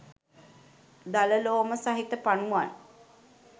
දල ලෝම සහිත පනුවන්